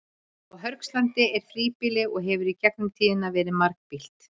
Á Hörgslandi er þríbýli og hefur í gegnum tíðina verið margbýlt.